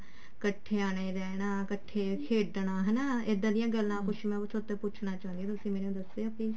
ਕੱਠੇ ਨੇ ਰਹਿਣਾ ਕੱਠੇ ਖੇਡਣਾ ਹਨਾ ਇੱਡਾ ਦੀਆਂ ਗੱਲਾਂ ਕੁਛ ਪੁੱਛਣਾ ਚਾਹੁਣੀ ਹਾਂ ਤੁਸੀਂ ਮੈਨੂੰ ਦੱਸਿਓ please